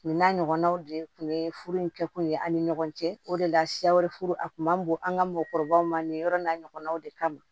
Min n'a ɲɔgɔnnaw de tun ye furu in kɛkun ye ani ɲɔgɔn cɛ o de la siya wɛrɛ furu a kun ma bon an ka mɔgɔkɔrɔbaw ma nin yɔrɔ n'a ɲɔgɔnnaw de kama